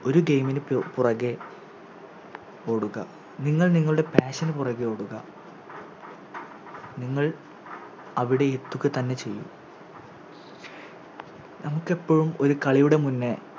ഒരു Game നുപുറകേ ഓടുക നിങ്ങൾ നിങ്ങളുടെ Passion പുറകെ ഓടുക നിങ്ങൾ അവിടെ എത്തുകതന്നെ ചെയ്യും നമുക്കെപ്പഴും ഒരു കളിയുടെ മുന്നേ